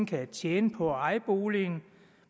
kan tjene på at eje boligen